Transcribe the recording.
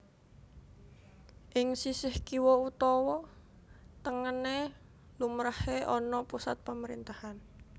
Ing sisih kiwa utawa tengené lumrahé ana pusat pamerintahan